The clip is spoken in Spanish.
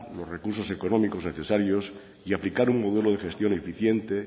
los recursos económicos necesarios y aplicar un modelo de gestión eficiente